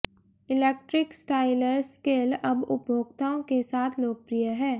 electric styler skill अब उपभोक्ताओं के साथ लोकप्रिय है